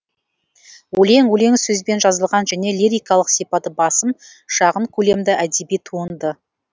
өлең өлең сөзбен жазылған және лирикалық сипаты басым шағын көлемді әдеби туынды